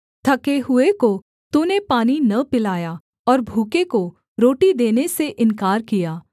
थके हुए को तूने पानी न पिलाया और भूखे को रोटी देने से इन्कार किया